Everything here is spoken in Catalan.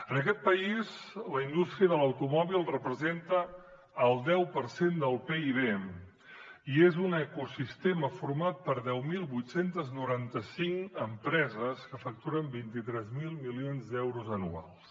en aquest país la indústria de l’automòbil representa el deu per cent del pib i és un ecosistema format per deu mil vuit cents i noranta cinc empreses que facturen vint tres mil milions d’euros anuals